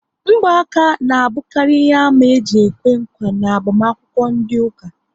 Ngba aka ná abukari ihe àmà eji ekwe nkwa n'agbamakwukwo ndị ụka